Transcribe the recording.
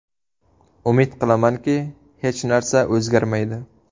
Umid qilamanki, hech narsa o‘zgarmaydi.